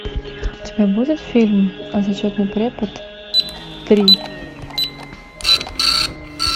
у тебя будет фильм зачетный препод три